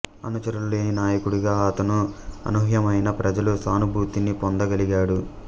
అనుచరులు లేని నాయకుడిగా అతను అనూహ్యమైన ప్రజల సానుభూతిని పొందగలిగాడు